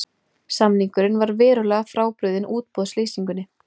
Samningurinn var verulega frábrugðinn útboðslýsingunni